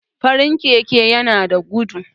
farin Keke yana da gudu